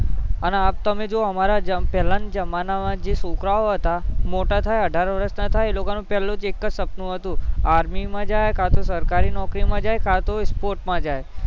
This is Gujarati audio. અને તમે જોવો અમારા પેહલા ના જમાના માં છોકરાઓ હતા એ મોટા થયાં અઢાર વર્ષ ના થયાં એમનું એ લોકો નું પહેલું સપનું હતું કે army માં જાય કાતો સરકારી નોકરી માં જાય કાતો sports માં જાય